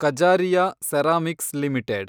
Kajaria ceramics limited